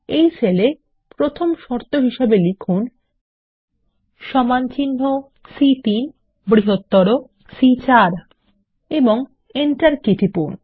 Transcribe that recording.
এই সেল এ প্রথম শর্ত হিসাবে লিখুন সমানচিহ্ন সি3 বৃহত্তর সি4 এবং এন্টার কী টিপুন